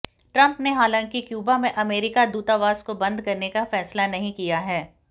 Trump ने हालांकि Cuba में अमेरिकी दूतावास को बंद करने का फैसला नहीं किया है